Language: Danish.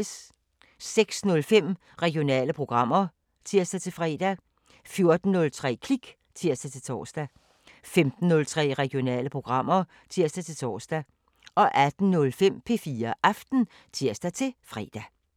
06:05: Regionale programmer (tir-fre) 14:03: Klik (tir-tor) 15:03: Regionale programmer (tir-tor) 18:05: P4 Aften (tir-fre)